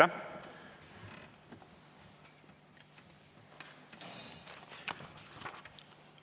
Aeg!